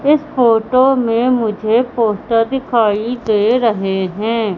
इस फोटो में मुझे पोस्टर दिखाई दे रहे हैं।